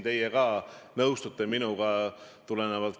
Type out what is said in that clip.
Läheme edasi järgmise küsimuse juurde, mis läheb ka peaminister Jüri Ratasele.